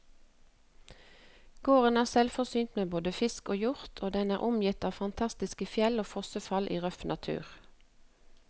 Gården er selvforsynt med både fisk og hjort, og den er omgitt av fantastiske fjell og fossefall i røff natur.